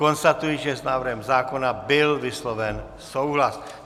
Konstatuji, že s návrhem zákona byl vysloven souhlas.